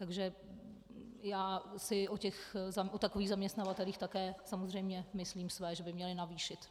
Takže já si o takových zaměstnavatelích také samozřejmě myslím své, že by měli navýšit.